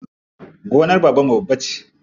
Gonar babanmu babba ce.